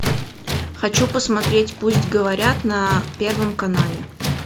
хочу посмотреть пусть говорят на первом канале